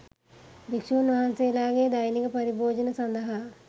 භික්ෂූන් වහන්සේලාගේ දෛනික පරිභෝජනය සඳහා